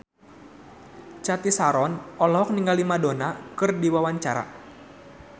Cathy Sharon olohok ningali Madonna keur diwawancara